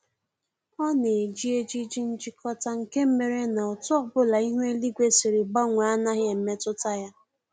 Ọ na-eji ejiji njikọta, nke mere na otu ọbụla ihu eluigwe siri gbanwee anaghị emetụta ya